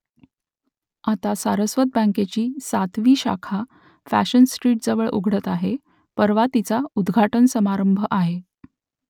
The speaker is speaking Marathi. आता सारस्वत बँकेची सातवी शाखा फॅशन स्ट्रीटजवळ उघडते आहे परवा तिचा उद्घाटन समारंभ आहे